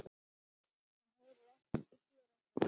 Hann heyrir ekkert og sér ekkert.